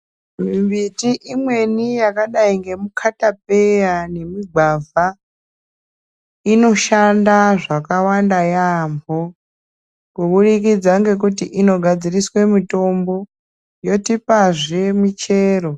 Miti imweni yakadai ngemikatapeya nemigwavha inoshanda zvakawanda yaamho kuburikidza ngekuti inogadziriswe mitombo yotopazve michero.